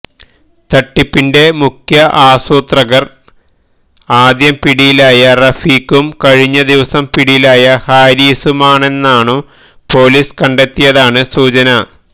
തട്ടിപ്പിന്റെ മുഖ്യ ആസൂത്രകര് ആദ്യം പിടിയിലായ റഫീഖും കഴിഞ്ഞ ദിവസം പിടിയിലായ ഹാരിസുമാണെന്നാണും പോലിസ് കണ്ടെത്തിയതായാണ് സൂചന